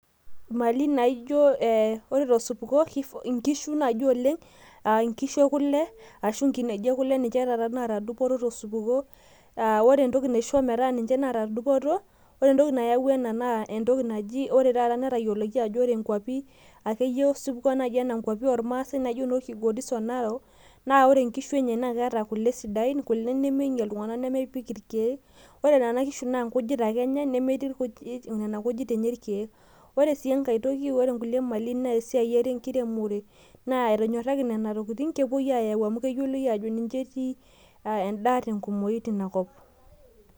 Imali naijo, ore tosupuko inkishu naaji oleng', nkishu ekule ashu nkineji ekule ninche taata naata dupoto tosupuko. Ore entoki naisho metaa ninche naata dupoto, entoki naijo ena ore taata netayioloki ajo ore nkuapi oormasae naijo Kilgoris o Narok, naa ore nkishu enye naa keeta kule sidain kule nemeinyial iltung'anka, nemepik irkeek. Ore nena kishu naa nkujit ake enya, ore nena kishu nemetii nkujit enye irkeek. Ore sii enkae toki naa esiai enkiremore, etonyoraki nena tokitin, kepuoi aayau amu keyioloi aajo ninche etii endaa tenkumoi teina kop.